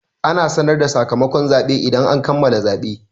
Ana sanar da sakamakon zaɓe idan an kammala zaɓe.